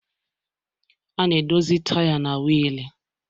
A na-edozi taya na wiil